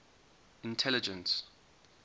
intelligence